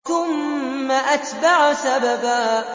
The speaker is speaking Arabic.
ثُمَّ أَتْبَعَ سَبَبًا